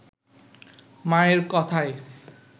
মায়ের কথায়